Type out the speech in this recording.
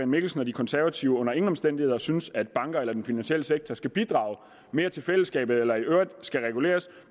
mikkelsen og de konservative under ingen omstændigheder synes at bankerne eller den finansielle sektor skal bidrage mere til fællesskabet eller i øvrigt skal reguleres